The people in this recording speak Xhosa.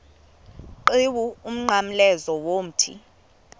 qhiwu umnqamlezo womthi